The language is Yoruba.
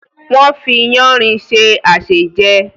wọ́n fi “yáanrin” se àsèjẹ.